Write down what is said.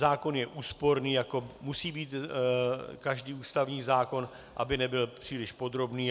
Zákon je úsporný, jako musí být každý ústavní zákon, aby nebyl příliš podrobný.